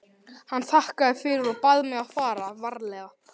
Hann þakkaði fyrir og bað mig fara varlega.